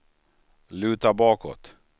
luta bakåt